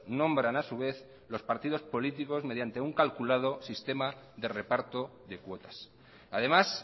nombran a su vez los partidos políticos mediante un calculado sistema de reparto de cuotas además